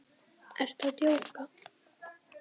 Ertu að djóka?